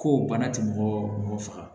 Ko bana ti mɔgɔ mɔgɔ faga